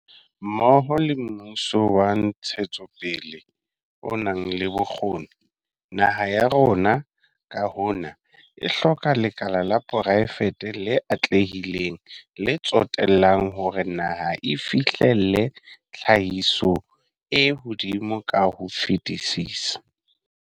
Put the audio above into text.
Mmoho le mmuso wa ntshetsopele o nang le bokgoni, naha ya rona, ka hona, e hloka lekala la poraefete le atlehileng, le tsetellang hore naha e fihlelle tlhahiso e hodimo ka ho fetisisa.